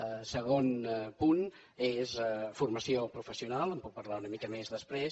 el segon punt és formació professional en puc parlar una mica més després